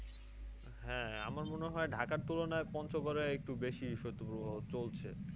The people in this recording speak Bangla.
হ্যাঁ আমার মনে হয় ঢাকার তুলনায় পঞ্চগড়েএকটু বেশি পঞ্চগড়ে শৈত্যপ্রবাহ চলছে।